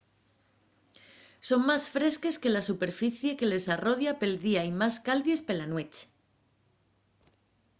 son más fresques que la superficie que les arrodia pel día y más caldies pela nueche